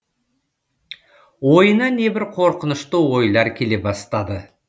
ойына небір қорқынышты ойлар келе бастады